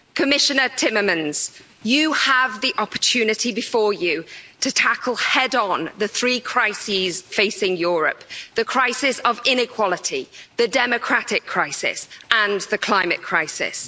Commissioner Timmermans, you have the opportunity before you to tackle head on the three crises facing Europe the crisis of inequality, the democratic crisis and the climate crisis.